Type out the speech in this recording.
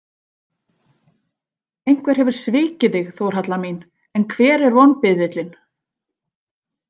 Einhver hefur svikið þig, Þórhalla mín, en hver er vonbiðillinn?